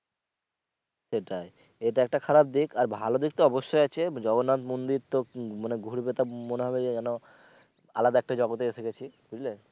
সেটাই এটা একটা খারাপ দিক আর ভালো দিক তো অবশ্যই আছে জগন্নাথ মন্দির তো উম মানে ঘুরবে তো মনে হবে যে যেন আলাদা একটা জগতে এসে গেছি বুঝলে?